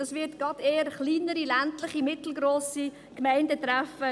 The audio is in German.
Das wird gerade eher kleinere, ländliche und mittelgrosse Gemeinden treffen;